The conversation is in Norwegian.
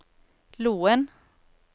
Loen